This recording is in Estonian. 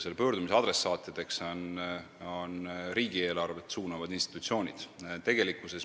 Selle pöördumise adressaatideks on riigieelarvet suunavad institutsioonid.